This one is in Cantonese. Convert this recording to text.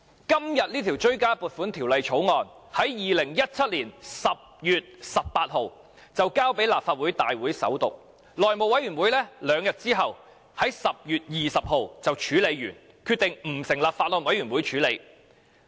今天這項追加撥款條例草案在2017年10月18日已提交立法會大會首讀，內務委員會在兩天後的10月20日已處理完畢，決定不成立法案委員會審議。